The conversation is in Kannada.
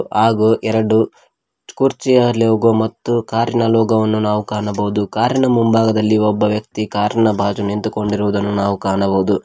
ಹಾಗು ಎರಡು ಕುರ್ಚಿಯ ಲೋಗೋ ಮತ್ತು ಕಾರ್ ಇನ ಲೋಗೋ ವನ್ನು ನಾವು ಕಾಣಬಹುದು ಕಾರ್ ಇನ ಮುಂಭಾಗದಲ್ಲಿ ಒಬ್ಬ ವ್ಯಕ್ತಿ ಕಾರ್ ನ ಬಾಜು ನಿಂತುಕೊಂಡಿರುವುದನ್ನು ನಾವು ಕಾಣಬಹುದು.